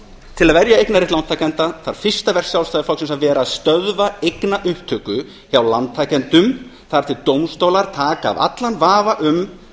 til að verja eignarrétt lántakenda þarf fyrsta verk sjálfstæðisflokksins að vera að stöðva eignaupptöku hjá lántakendum þar til dómstólar taka af allan vafa um